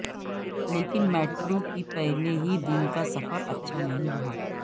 لیکن میٹرو کی پہلے ہی دن کا سفر اچھا نہیں رہا